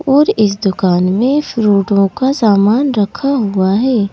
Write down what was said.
और इस दुकान में फ्रूटोओ का समान रखा हुआ है।